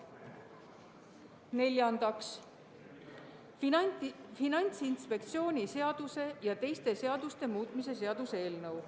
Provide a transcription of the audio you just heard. Neljandaks, Finantsinspektsiooni seaduse ja teiste seaduste muutmise seaduse eelnõu.